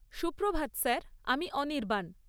সুপ্রভাত স্যার, আমি অনির্বাণ।